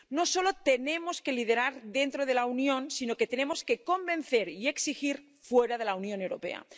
No solo tenemos que liderar dentro de la Unión, sino que tenemos que convencer y exigir fuera de la Unión Europea.